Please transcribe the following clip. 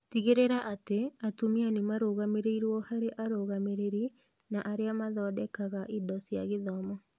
Tigĩrĩra atĩ atumia nĩ marũgamĩrĩrwo harĩ arũgamĩrĩri na arĩa mathondekaga indo cia gĩthomo.